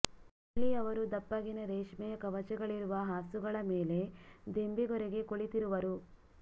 ಅಲ್ಲಿ ಅವರು ದಪ್ಪ ಗಿನ ರೇಷ್ಮೆಯ ಕವಚಗಳಿರುವ ಹಾಸುಗಳ ಮೇಲೆ ದಿಂಬಿಗೊರಗಿ ಕುಳಿತಿರುವರು